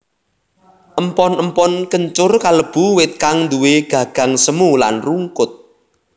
Empon empon kencur kalebu wit kang nduwè gagang semu lan rungkut